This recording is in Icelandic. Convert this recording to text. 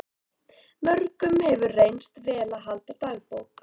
Mörgum hefur reynst vel að halda dagbók.